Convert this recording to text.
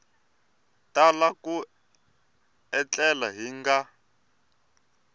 tala ku etlela hi nga